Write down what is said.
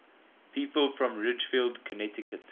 people from ridgefield connecticut